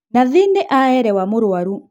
Nathi nĩaerewa mũrwaru